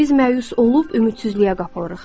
Biz məyus olub ümidsizliyə qapılırıq.